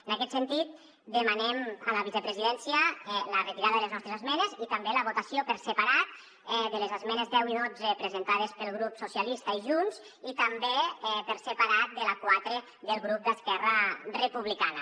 en aquest sentit demanem a la vicepresidència la retirada de les nostres esmenes i també la votació per separat de les esmenes deu i dotze presentades pel grup socialistes i junts i també per separat de la quatre del grup d’esquerra republicana